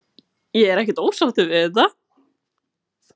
Ég er ekkert ósáttur við þetta.